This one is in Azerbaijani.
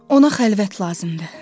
Ona xəlvət lazımdır.